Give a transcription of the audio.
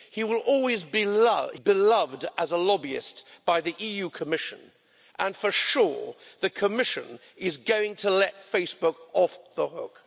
He will always be beloved as a lobbyist by the EU Commission and, for sure, the Commission is going to let Facebook off the hook.